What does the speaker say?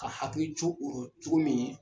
Ka hakili co orɔ cogo min